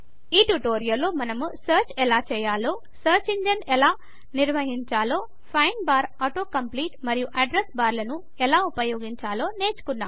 ఈ ట్యుటోరియల్లో మనము సర్చ్ ఎలా ఉపయోగించాలో సర్చ్ ఇంజన్ ఎలా నిర్వహించాలో ఫైండ్ బార్ ఆటో కంప్లీట్ మరియు అడ్రెస్ బార్లను ఎలా ఉపయోగించాలో నేర్చుకున్నాము